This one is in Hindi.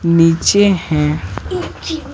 नीचे है।